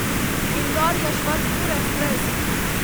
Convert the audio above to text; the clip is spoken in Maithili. इन्दौर यशवन्तपुर एक्सप्रेस